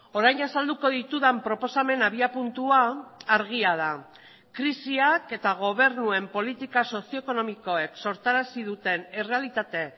orain azalduko ditudan proposamen abiapuntua argia da krisiak eta gobernuen politika sozioekonomikoek sortarazi duten errealitate